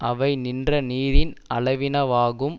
அவை நின்ற நீரின் அளவினவாகும்